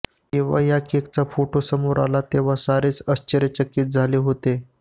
जेव्हा या केकचा फोटो समोर आला तेव्हा सारेच आश्चर्यचकित झाले होते